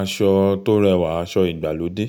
Aṣọ tó rẹwà aṣọ ìgbàlódé,